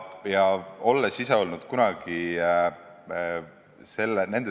Ma olen ise ka kunagi nende teemadega kokku puutunud.